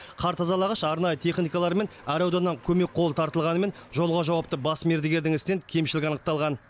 қар тазалағыш арнайы техникалар мен әр ауданнан көмек қолы тартылғанымен жолға жауапты бас мердігердің ісінен кемшілік анықталған